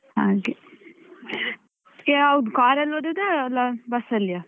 ಹಾಗೆ, ಮತ್ತೆ ಯಾವುದು car ಅಲ್ಲಿ ಹೋದದ್ದಾ ಅಲ್ಲಾ bus ಅಲ್ಲಿ ಯಾ?